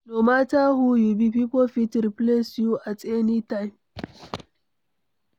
No matter who you be, pipo fit replace you at any time